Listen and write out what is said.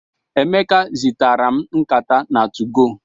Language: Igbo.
Emeka zigara m nkata na 2go.